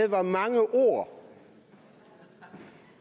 var mange ord